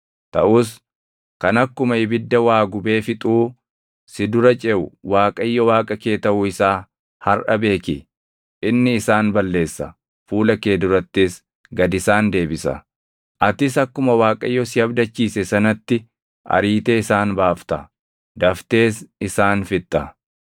Taʼus kan akkuma ibidda waa gubee fixuu si dura ceʼu Waaqayyo Waaqa kee taʼuu isaa harʼa beeki. Inni isaan balleessa; fuula kee durattis gad isaan deebisa. Atis akkuma Waaqayyo si abdachiise sanatti ariitee isaan baafta; daftees isaan fixxa.